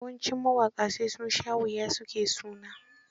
Yawancin mawaƙa sai sun sha wuya su ke suna.